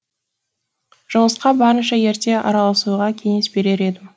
жұмысқа барынша ерте араласуға кеңес берер едім